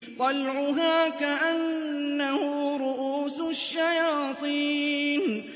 طَلْعُهَا كَأَنَّهُ رُءُوسُ الشَّيَاطِينِ